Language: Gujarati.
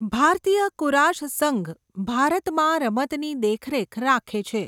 ભારતીય કુરાશ સંઘ ભારતમાં રમતની દેખરેખ રાખે છે.